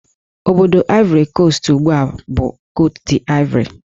Obodo Ivory Coast ugbu a bụ Cote d'Ivore